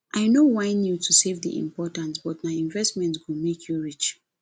i no whine you to save dey important but nah investment go make you rich